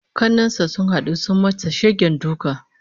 Kannen sa sun hadu sun masa shegen duka